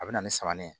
A bɛ na ni saman ye